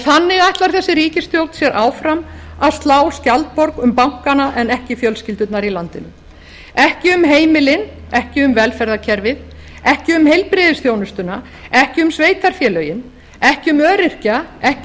þannig ætlar þessi ríkisstjórn sér áfram að slá skjaldborg um bankana en ekki um fjölskyldurnar í landinu ekki um heimilin ekki um heimilin ekki um velferðarkerfið ekki um heilbrigðisþjónustuna ekki um sveitarfélögin ekki um öryrkja ekki